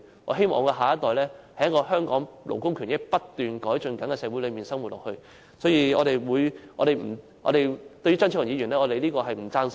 我希望我的下一代能在一個勞工權益不斷改進的香港社會內生活，所以，我們不贊同張超雄議員的說法。